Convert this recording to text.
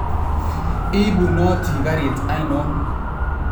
Ipunoti karit ainon